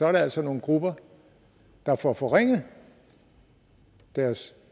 altså nogle grupper der får forringet deres